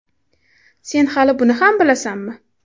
Sen hali buni ham bilasanmi?